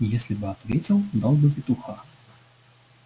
если бы ответил дал бы петуха